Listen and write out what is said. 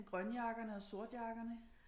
Grønjakkerne og sortjakkerne